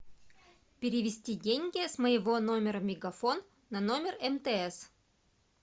перевести деньги с моего номера мегафон на номер мтс